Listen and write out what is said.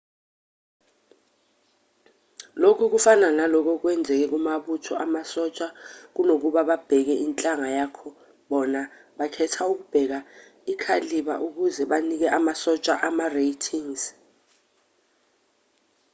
lokhu kufana nalokhu okwenzeka kumabutho amasosha kunokuba babheke inhlanga yakho bona bakhetha ukubeka i-cailaber ukuze banike amasosha ama-ratings